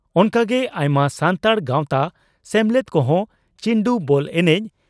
ᱚᱱᱠᱟᱜᱮ ᱟᱭᱢᱟ ᱥᱟᱱᱛᱟᱲ ᱜᱟᱚᱛᱟ ᱥᱮᱢᱞᱮᱫ ᱠᱚᱦᱚᱸ ᱪᱤᱱᱰᱩ (ᱵᱚᱞ) ᱮᱱᱮᱡ